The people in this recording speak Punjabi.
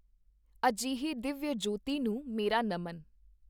ਅਜਿਹੀ ਦਿੱਵਯਜਯੋਤੀ ਨੂੰ ਮੇਰਾ ਨਮਨ।